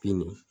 Bin